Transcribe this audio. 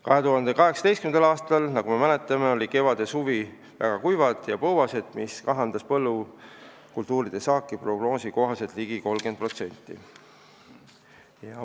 2018. aastal, nagu me mäletame, olid kevad ja suvi väga kuivad ja põuased, mis kahandas põllukultuuride saaki prognoosi kohaselt ligi 30%.